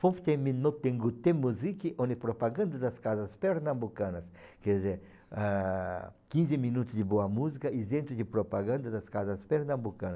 olha propaganda das casas pernambucanas, quer dizer, ah, quinze minutos de boa música isento de propaganda das casas pernambucana.